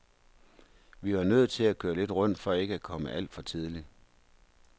Vi var nødt til at køre lidt rundt for ikke at komme alt for tidlig.